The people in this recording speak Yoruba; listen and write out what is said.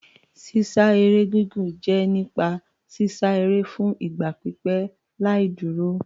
Sísá eré gígùn jẹ́ nípa sísá eré fún ìgbà pípẹ́ láì dúró.